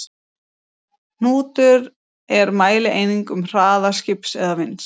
Hnútur er mælieining um hraða skips eða vinds.